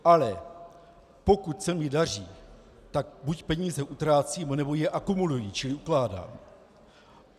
Ale pokud se mi daří, tak buď peníze utrácím, nebo je akumuluji čili ukládám.